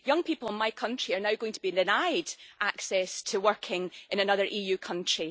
Young people in my country are now going to be denied access to working in another EU country.